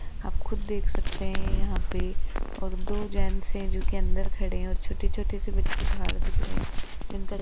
आप खुद देख सकते हैं यहां पे और दो जेंट्स हैं जो कि अंदर खड़े हैं और छोटे-छोटे से बच्चे बाहर दिख रहे हैं अंदर --